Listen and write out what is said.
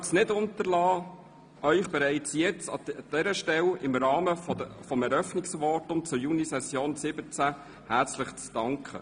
Ich möchte es nicht unterlassen, Ihnen bereits an dieser Stelle im Rahmen meines Eröffnungsvotums zur Junisession 2017 herzlich zu danken.